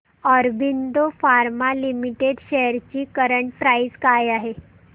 Aurobindo pharma limited shares ची current price काय आहे